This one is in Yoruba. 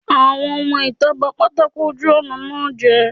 àwọn ọmọ itá ba pàtàkó ojù ọna jé.